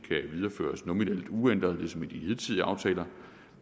videreføres nominelt uændret ligesom ved de hidtidige aftaler